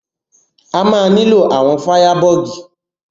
A ma nílò àwọn fáyàbọ̀gì.